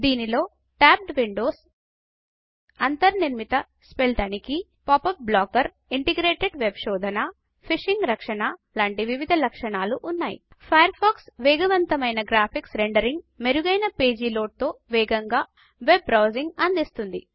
దీనిలో tabbed windows అంతర్నిర్మిత spell తనిఖీ పాపప్ బ్లాకర్ ఇంటిగ్రేటెడ్ వెబ్ శోధన ఫిషింగ్ రక్షణ లాంటి వివిధ లక్షణాలు ఉన్నాయి ఫాయర్ ఫాక్స్ వేగవంతమైన గ్రాఫిక్స్ రెండరింగ్ మెరుగైన పేజీ లోడ్ తో వేగంగా వెబ్ బ్రౌజింగ్ అందిస్తుంది